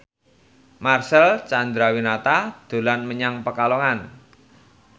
Marcel Chandrawinata dolan menyang Pekalongan